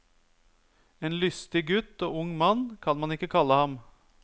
En lystig gutt og ung mann kan man ikke kalle ham.